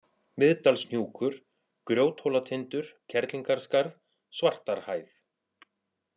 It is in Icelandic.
Miðdalshnjúkur, Grjóthólatindur, Kerlingarskarð, Svartarhæð